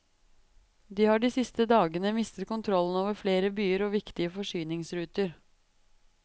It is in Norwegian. De har de siste dagene mistet kontrollen over flere byer og viktige forsyningsruter.